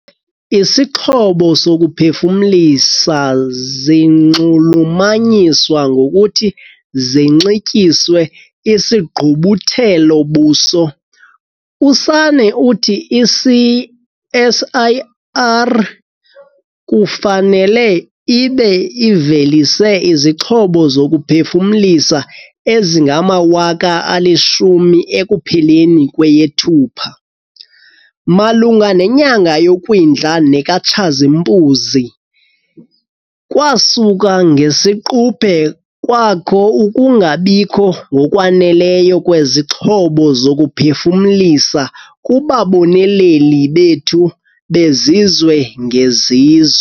Isixhobo sokuphefumlisa zinxulumanyiswa ngokuthi zinxityiswe isigqubuthelo-buso. USanne uthi i-CSIR kufanele ibe ivelise izixhobo zokuphefumlisa ezingama-10 000 ekupheleni kweyeThupha. "Malunga nenyanga yoKwindla nekaTshazimpuzi, kwasuka ngesiquphe kwakho ukungabikho ngokwaneleyo kwezixhobo zokuphefumlisa kubaboneleli bethu bezizwe-ngezizwe."